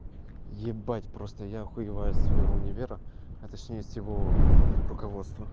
ебать просто я охуеваю со своего универа а точнее с его руководства